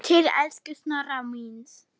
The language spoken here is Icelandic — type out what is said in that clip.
Til elsku Snorra míns.